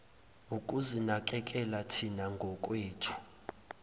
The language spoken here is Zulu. ukuzinakekela thina ngokwethu